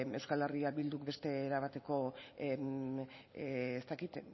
euskal herria bilduk beste era bateko ez dakit